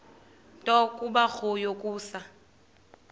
nto kubarrow yokusa